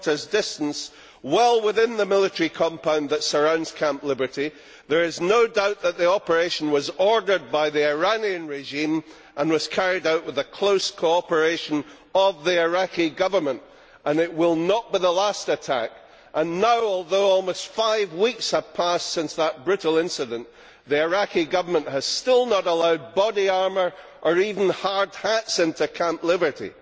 km distance, well within the military compound that surrounds Camp Liberty. There is no doubt the operation was ordered by the Iranian regime and was carried out with the close cooperation of the Iraqi Government. It will not be the last attack. Now, although five weeks have passed since that brutal incidence, the Iraqi Government has still not allowed body armour or even hard hats into Camp Liberty.